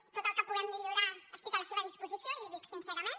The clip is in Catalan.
en tot el que puguem millorar estic a la seva disposició i l’hi dic sincerament